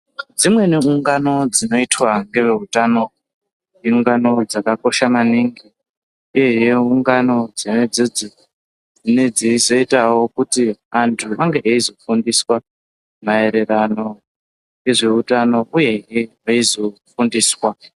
Dzimweni ungano dzinoitwa ngevveutano iungano dzakakosha maningi uye ungano dzona idzidzi dzinoitawo kuti anthu ange eizofundiswa maererano nezveutano uyezve veizofundiswa.